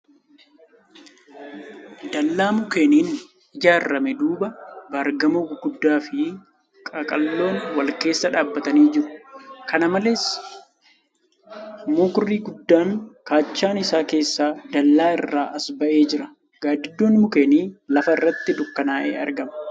Dallaa mukkeeniin ijaarame duuba baargamoo gurguddoo fi qaqalloon. wal keessa dhaabbatanii jiru. Kana malees, mukri guddaan kaachaa isaan keessaa dallaa irra as ba'ee jira. Gaaddidduun mukkeenii lafa irratti dukkanaa'ee argama .